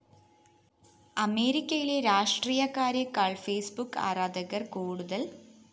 അമേരിക്കയിലെ രാഷ്ട്രീയക്കാരെക്കാള്‍ Facebook ആരാധകര്‍ കൂടുതല്‍